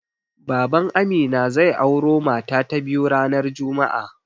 Baban Amina zai auro mata ta biyu ranar juma'a.